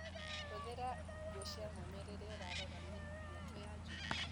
Hũthĩra nguo cia mwanya rĩria ũrarora mĩatũ ya njũkĩ.